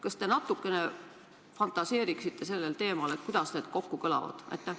Kas te natukene fantaseeriksite sellel teemal, kuidas need asjad kokku kõlavad?